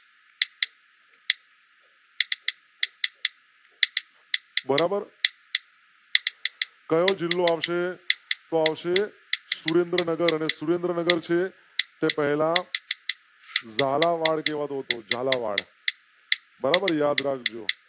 બરાબર. કયો જિલ્લો આવશે આવશે સુરેન્દ્રનગર અને સુરેન્દ્રનગર છે તે પહેલા. ઝાલાવાડ કેવો તો ઝાલાવાડ. બરાબર યાદ રાખ જો.